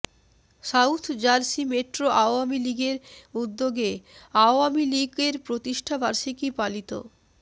south Jersey metro Awami লীগের উদ্যোগে আওয়ামী লীগের প্রতিষ্ঠা বার্ষিকী পালিত